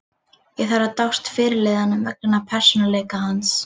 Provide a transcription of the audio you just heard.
Ég þarf að dást að fyrirliðanum vegna persónuleika hans.